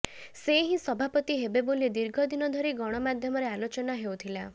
ସେ ହିଁ ସଭାପତି ହେବେ ବୋଲି ଦୀର୍ଘ ଦିନ ଧରି ଗଣମାଧ୍ୟମରେ ଆଲୋଚନା ହେଉଥିଲା